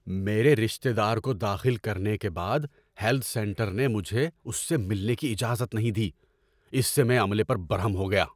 میرے رشتے دار کو داخل کرنے کے بعد ہیلتھ سینٹر نے مجھے اس سے ملنے کی اجازت نہیں دی۔ اس سے میں عملے پر برہم ہو گیا۔